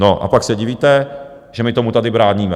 No a pak se divíte, že my tomu tady bráníme.